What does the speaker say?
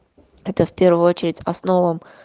это в первую очередь основам